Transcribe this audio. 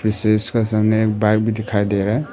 इसका सामने एक बाइक भी दिखाई दे रहा है।